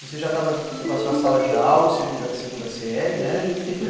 Você já estava com a sua sala de aula, o segunda, a segunda série, né? Isso, e fui